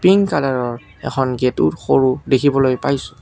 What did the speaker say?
Pink কালাৰৰ এখন গেটো সৰু দেখিবলৈ পাইছোঁ।